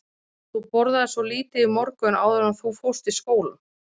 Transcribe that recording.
Þú borðaðir svo lítið í morgun áður en þú fórst í skólann.